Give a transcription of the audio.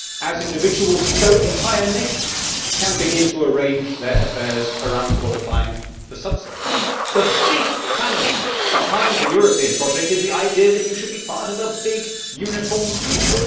Like individuals, entire nations can begin to arrange their affairs around qualifying for subsidies. The great fallacy behind the European project is the idea that you should be part of a big, uniform unit.